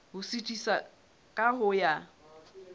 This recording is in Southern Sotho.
ho suthisa ka ho ya